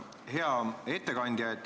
Hea ettekandja!